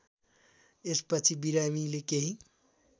यसपछि बिरामीले केही